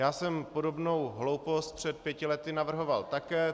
Já jsem podobnou hloupost před pěti lety navrhoval také.